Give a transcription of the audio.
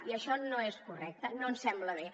i això no és correcte no ens sembla bé